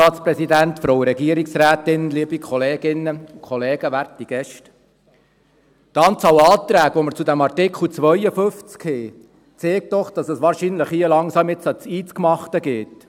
Die Anzahl Anträge, die wir zu Artikel 52 haben, zeigt doch, dass es hier wahrscheinlich langsam an das Eingemachte geht.